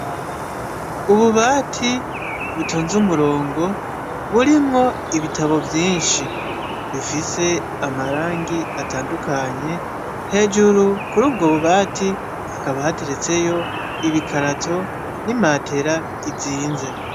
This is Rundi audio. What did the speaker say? Ububati butonze umurongo burimwo ibitabo vyinshi bifise amarangi atandukanye hejuru kuri ubwo bubati akaba hateretseyo ibikarato n'imatera izinze.